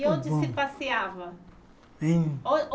E onde se passeava? Hein On on